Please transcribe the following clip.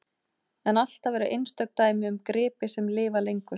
En alltaf eru einstök dæmi um gripi sem lifa lengur.